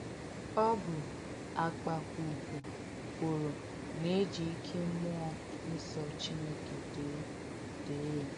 Ọ bù̀ àkpàkwùkwù kwòrò nà è jì ìké m̀múọ̀ nsọ̀ Chínékè dèè dèè yà.